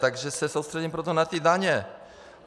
Takže se soustředím proto na ty daně.